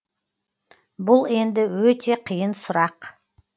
бұл енді өте қиын сұрақ